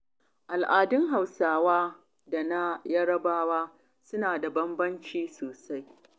Al'adun Hausawa da na kuma yarabawa, suna da bambanci sosai.